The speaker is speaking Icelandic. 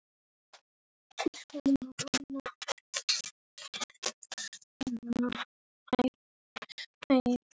Hvað gerist í dag?